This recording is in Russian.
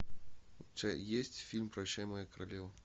у тебя есть фильм прощай моя королева